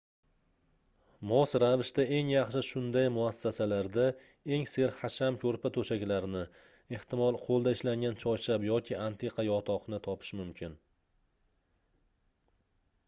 mos ravishda eng yaxshi shunday muassasalarda eng serhasham koʻrpa-toʻshaklarni ehtimol qoʻlda ishlangan choyshab yoki antiqa yotoqni topish mumkin